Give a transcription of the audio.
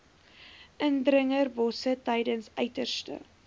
indringerbosse tydens uiterste